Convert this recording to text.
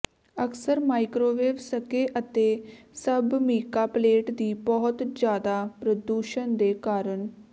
ਅਕਸਰ ਮਾਈਕ੍ਰੋਵੇਵ ਸਕੇ ਅਤੇ ਸਭ ਮੀਕਾ ਪਲੇਟ ਦੀ ਬਹੁਤ ਜ਼ਿਆਦਾ ਪ੍ਰਦੂਸ਼ਣ ਦੇ ਕਾਰਨ